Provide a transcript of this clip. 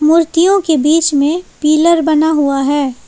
मूर्तियों के बीच में पिलर बना हुआ है।